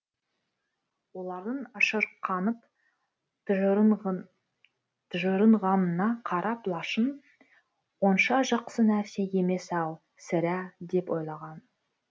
олардың ашырқанып тыжырынғанына қарап лашын онша жақсы нәрсе емес ау сірә деп ойлаған